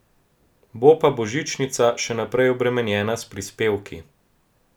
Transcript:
Bo pa božičnica še naprej obremenjena s prispevki.